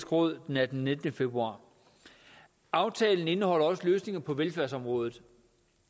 råd den attende og nittende februar aftalen indeholder også løsninger på velfærdsområdet